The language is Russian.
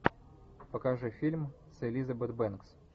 покажи фильм с элизабет бэнкс